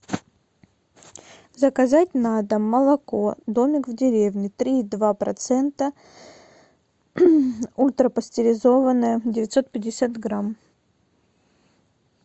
заказать на дом молоко домик в деревне три и два процента ультрапастеризованное девятьсот пятьдесят грамм